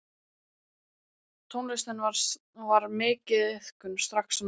Tónlist var þar mikið iðkuð strax á Norðfirði.